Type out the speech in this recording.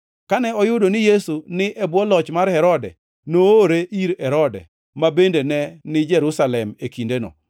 Kane oyudo ni Yesu ni e bwo loch mar Herode, noore ir Herode, ma bende ne ni Jerusalem e kindeno.